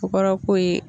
Ko kɔrɔ ko ye